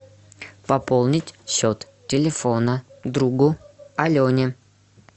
пополнить счет телефона другу алене